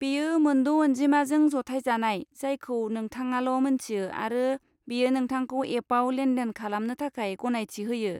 बेयो मोनद' अनजिमाजों जथायजानाय, जायखौ नोंथाङाल' मोन्थियो आरो बेयो नोंथांखौ एपआव लेन देन खालामनो थाखाय गनायथि होयो।